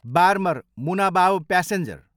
Barmer, Munabao passenger